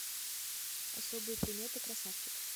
особые приметы красавчик